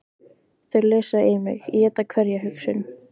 Þau lesa í mig, éta hverja hugsun.